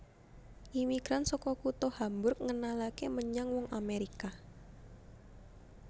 Imigran saka kutha Hamburg ngenalaké menyang wong Amèrika